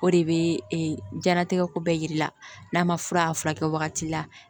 O de bɛ jiyɛnlatigɛ ko bɛɛ yir'i la n'a ma fura a furakɛ wagati la